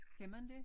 Skal man det